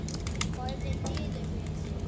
Horfði niður fyrir sig.